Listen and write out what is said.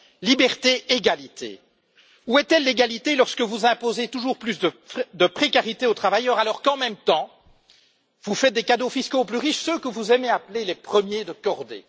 Liberté, égalité. Où est l'égalité lorsque vous imposez toujours plus de précarité aux travailleurs alors qu'en même temps, vous faites des cadeaux fiscaux aux plus riches, ceux que vous aimez appeler les premiers de cordée?